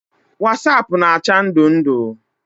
Wasaapụ na-acha ndụ ndụ.